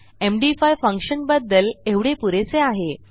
MD five फंक्शनबद्दल एवढे पुरेसे आहे